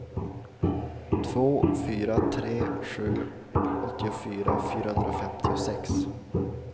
två fyra tre sju åttiofyra fyrahundrafemtiosex